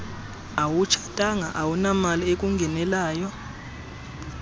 awutshatanga awunamali ekungenelayo